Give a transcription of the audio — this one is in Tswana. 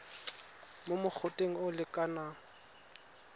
mo mogoteng o o lekanang